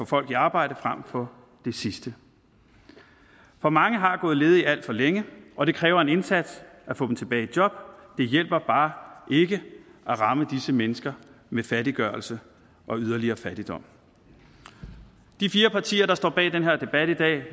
folk i arbejde frem for det sidste for mange har gået ledige alt for længe og det kræver en indsats at få dem tilbage i job det hjælper bare ikke at ramme disse mennesker med fattiggørelse og yderligere fattigdom de fire partier der står bag den her debat i dag